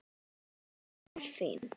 Þú ert fín.